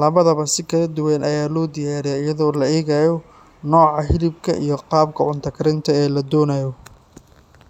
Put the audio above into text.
Labadaba si kala duwan ayaa loo diyaariyaa iyadoo la eegayo nooca hilibka iyo qaabka cunto karinta ee la doonayo.